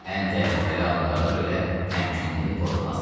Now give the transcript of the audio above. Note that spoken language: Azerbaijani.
Ən təhlükəli anlarda belə təmkinini pozmazdı.